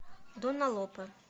дона лопе